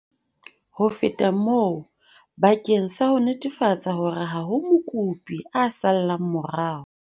Ho feta moo, bakeng sa ho netefatsa hore ha ho mokopi a sallang morao,